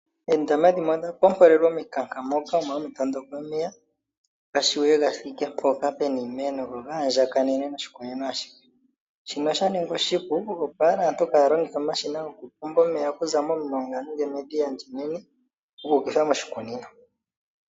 Oondama dhimwe odha pompolelwa omikanka moka omo hamu tondokele omeya ga vule ga thike mpoka pu na iimeno go ga andjakanene moshikunino ashihe. Shino osha ningwa oshipu, opo owala aantu kaaya longithe omashina gokupomba omeya okuza momulonga, nenge medhiya ndi enene gu ukitha moshikunino.